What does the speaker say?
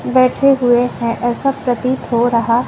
बैठे हुए हैं ऐसा प्रतीत हो रहा--